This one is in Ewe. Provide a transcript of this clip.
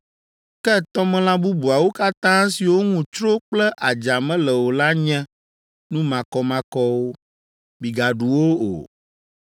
Ke tɔmelã bubuawo katã siwo ŋu tsro kple adza mele o la nye nu makɔmakɔwo; migaɖu wo o.